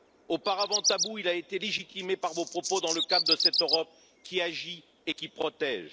Auparavant tabou, il a été légitimé par vos propos, dans le cadre de cette Europe qui agit et qui protège.